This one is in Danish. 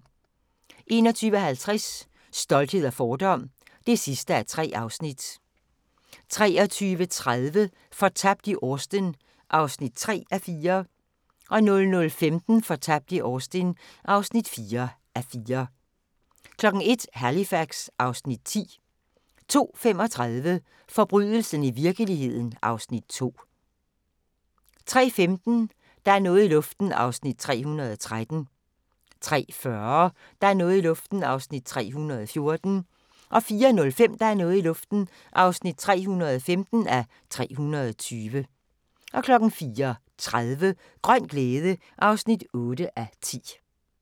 21:50: Stolthed og fordom (3:3) 23:30: Fortabt i Austen (3:4) 00:15: Fortabt i Austen (4:4) 01:00: Halifax (Afs. 10) 02:35: Forbrydelsen i virkeligheden (Afs. 2) 03:15: Der er noget i luften (313:320) 03:40: Der er noget i luften (314:320) 04:05: Der er noget i luften (315:320) 04:30: Grøn glæde (8:10)